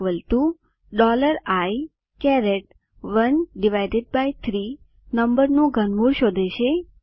Cઆઇ13 નંબરનું ઘનમૂળ શોધે છે